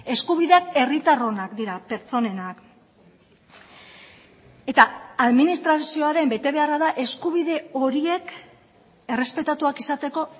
eskubideak herritarronak dira pertsonenak eta administrazioaren betebeharra da eskubide horiek errespetatuak izateko